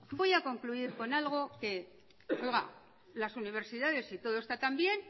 voy a concluir con algo que oiga las universidades si todo está tan bien